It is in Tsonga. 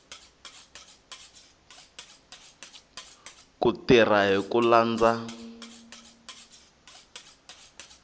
ku tirha hi ku landza